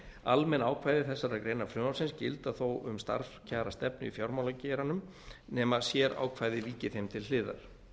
almenn ákvæði þessarar greinar frumvarpsins gilda þó um starfskjarastefnu í fjármálageiranum nema sérákvæði víki þeim til hliðar